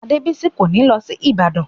Adébìyí kò ní lọ sí Ìbàdàn